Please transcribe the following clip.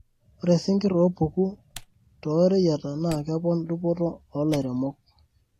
Ore singir opuku too reyiata naa kepon dupoto o lairemok.